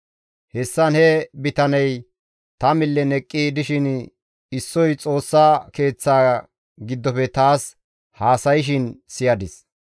Hessan he bitaney ta millen eqqi dishin issoy Xoossa Keeththa giddofe taas haasayshin ta siyadis.